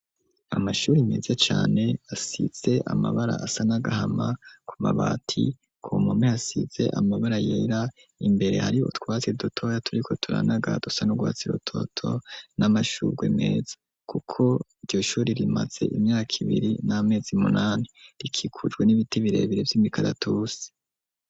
Amashuri, meza cane, asize amabara, asa n’agahama, ku mabati; ku mpome, hasize amabara yera; imbere, hariyo utwatsi dotoya, turiko turanaga, dusa n'urwatsi rutoto, n'amashurwe meza; kuko iryo shuri, rimaze imyaka ibiri, n'amezi munani; rikikujwe n'ibiti, birebere, vy'imikaratusi.